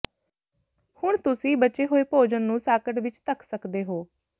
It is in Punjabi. ਹੁਣ ਤੁਸੀਂ ਬਚੇ ਹੋਏ ਭੋਜਨ ਨੂੰ ਸਾਕਟ ਵਿਚ ਧੱਕ ਸਕਦੇ ਹੋ